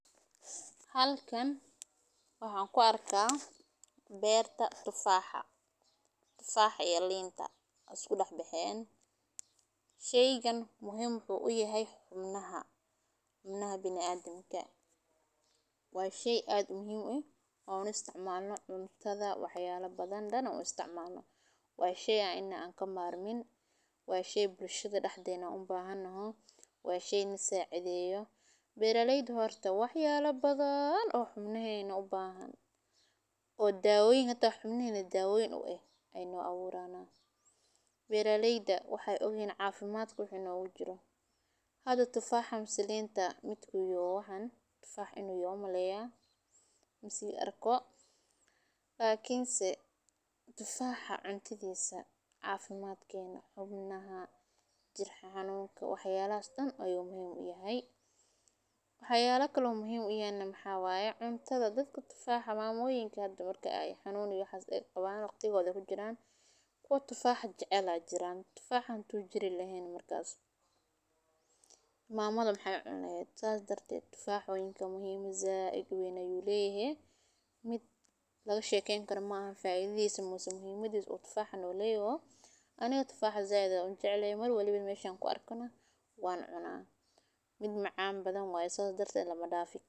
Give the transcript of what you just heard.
Halkan waxan ku arka beerta tufaxa iyo linta we isku dax bexen sheygan wuxuu muhiim u yahay xibnaha binaadanka waa shey waa shey inawa an ka marmin waa shey bulshaada daxdena an u bahanoho waa shey nasacideyo beera leyda wax yala badan oo xubnahena ubahan oo xibnaheeda hata dawa u eh ayey u aburana beera leyda waxee ogyahan waxaa faidhada nogu jiro hada tufaxa mase linta lakin se tufaxa cunistisa xubnahena jir xanunka wax yalahas ayu muhiim u yahay, waxa kale oo muhiim u uyahay maxaa waye cuntadha dadka tufaxa jacel ba jiran tufaxa hadu jiren mamada maxee cuni laheed sas darted tufax muhiim said ayu leyahay mid laga shekwyni karo maaha, aniga tufaxa said ayan ujecelahay meshan ku arkana wan cuna mid macan badan waye sas darteed lama dafi karo.